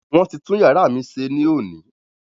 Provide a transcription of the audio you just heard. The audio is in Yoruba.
Wọ́n ti tún iyàrá mí ṣe ní òní.